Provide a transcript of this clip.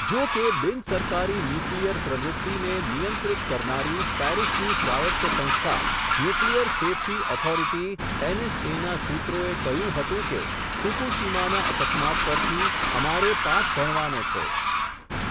જોકે, બિનસરકારી ન્યુક્લિયર પ્રવૃત્તિને, નિયંત્રિત કરનારી, પેરિસની સ્વાયત્ત સંસ્થા, ન્યુક્લિઅર સેફટી ઓથોરિટી, એનએસએ ના, સૂત્રોએ કહ્યું હતું કે, ફુકૂશીમાના અકસ્માત પરથી, અમારે પાઠ ભણવાનો છે.